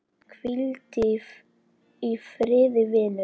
Hvíldu í friði, vinur.